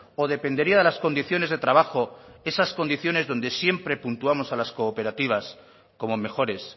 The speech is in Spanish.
o dependería de las condiciones de trabajo esas condiciones donde siempre puntuamos a las cooperativas como mejores